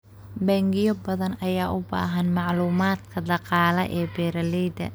Bangiyo badan ayaa u baahan macluumaadka dhaqaale ee beeralayda.